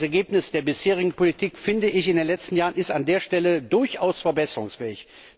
Das Ergebnis der bisherigen Politik in den letzten Jahren ist an der Stelle durchaus verbesserungsfähig.